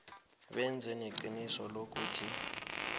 benze neqiniso lokuthi